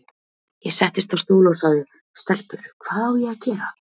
Ég settist á stól og sagði:- Stelpur, hvað á ég að gera?